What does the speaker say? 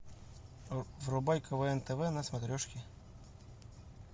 врубай квн тв на смотрешке